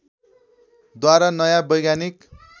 द्वारा नयाँ वैज्ञानिक